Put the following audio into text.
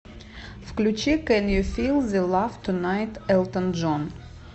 включи кэн ю фил зе лав тунайт элтон джон